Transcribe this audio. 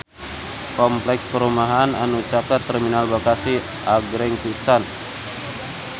Kompleks perumahan anu caket Terminal Bekasi agreng pisan